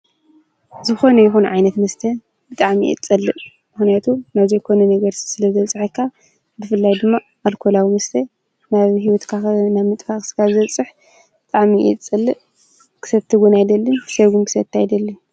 ዝኾኑ ይኹን ዓይነት ምስተ ብጣኣሚእት ጸልእ ምኅነያቱ ናዙይ ኮነ ነገር ስለ ዘልጽሐካ ብፍላይ ድማ ኣልኮላዊ ምስተይ ናቢ ሕይወት ካኸ ና ምጥፋ ኽሥካዘጽሕ ብጣሚየት ጸልእ ክሰብቲ ጕና ኣይደልን ክሰይጕም ክሰት ኣይደልን